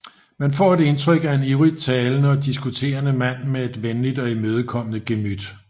Man får et indtryk af en ivrigt talende og diskuterende mand med et venligt og imødekommende gemyt